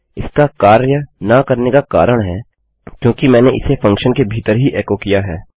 इसका कार्य न करने का कारण है क्योंकि मैंने इसे फंक्शन के भीतर ही एकोकिया है